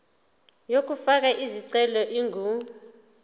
yokufaka isicelo ingu